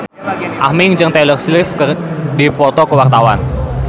Aming jeung Taylor Swift keur dipoto ku wartawan